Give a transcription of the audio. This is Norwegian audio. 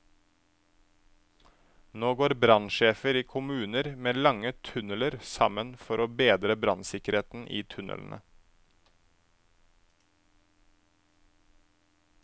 Nå går brannsjefer i kommuner med lange tunneler sammen for å bedre brannsikkerheten i tunnelene.